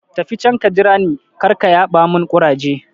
Tafi can ka jira ni, karka yaɓa mun ƙuraje